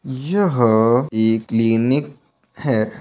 यह ह एक क्लिनिक है।